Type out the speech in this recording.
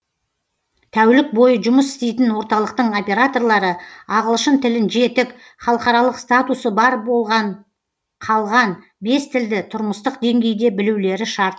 тәулік бойы жұмыс істейтін орталықтың операторлары ағылшын тілін жетік халықаралық статусы бар қалған бес тілді тұрмыстық деңгейде білулері шарт